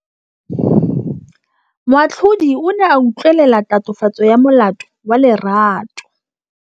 Moatlhodi o ne a utlwelela tatofatsô ya molato wa Lerato.